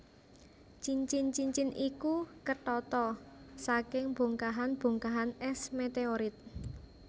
Cincin cincin iku ketata saking bongkahan bongkahan es meteorit